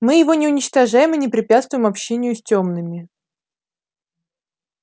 мы его не уничтожаем и не препятствуем общению с тёмными